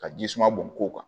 Ka ji suma bɔn ko kan